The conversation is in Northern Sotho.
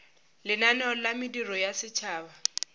lenaneo la mediro ya setšhaba